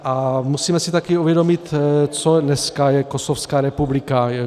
A musíme si také uvědomit, co dnes je Kosovská republika.